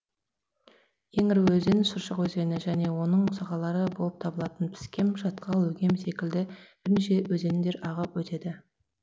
ең ірі өзені шыршық өзені және оның сағалары болып табылатын піскем шатқал өгем секілді бірнеше өзендер ағып өтеді